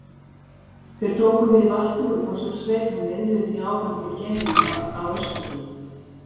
Þeir tóku við vatni úr Mosfellssveit og miðluðu því áfram til geymanna á Öskjuhlíð.